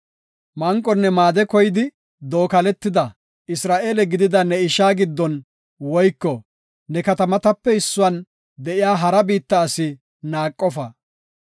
Manqonne maade koyidi dookaletida, Isra7eele gidida ne ishaa gidin woyko ne katamatape issuwan de7iya hara biitta asi naaqofa.